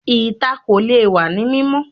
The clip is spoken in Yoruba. Ìta kò lè wá ní mímọ́